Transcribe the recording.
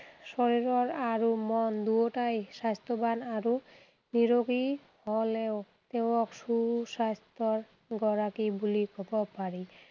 শৰীৰৰ আৰু মন দুয়োটাই স্বাস্থ্যৱান আৰু নিৰোগী হ’লেও তেওঁক সুস্বাস্থ্যৰ গৰাকী বুলি ক’ব পাৰি।